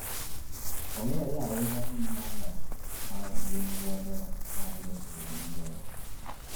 Ong'ere ahinya gi nyalo ma gin-go mar loso udi mabeyo.